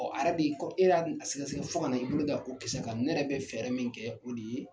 a yɛrɛ de kɔ e yɛrɛ y'a dun a sɛgɛsɛgɛ fo kana i bolo da o kisɛ kan. Ne yɛrɛ bɛ fɛɛrɛ min kɛ o de ye